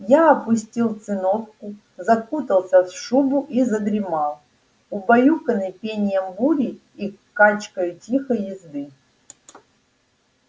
я опустил циновку закутался в шубу и задремал убаюканный пением бури и качкою тихой езды